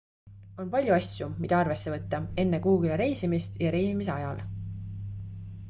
on palju asju mida arvesse võtta enne kuhugile reisimist ja reisimise ajal